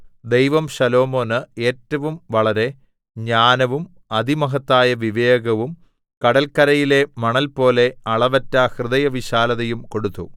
ദൈവം ശലോമോന് ഏറ്റവും വളരെ ജ്ഞാനവും അതിമഹത്തായ വിവേകവും കടല്ക്കരയിലെ മണൽപോലെ അളവറ്റ ഹൃദയവിശാലതയും കൊടുത്തു